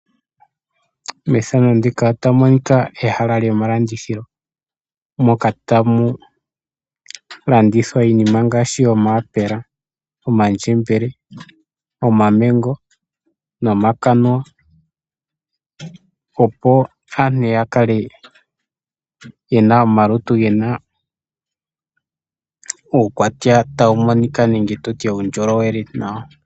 Methano ndika otamu monika ehala lyomalandithilo, mpoka tamu landithwa iinima ngaashi , omaapela, omandjembele, omamengo nomakanuwa, opo aantu ya kale yena omalutu gena uukwatya tawu monika nenge tutye uundjolowele nawa .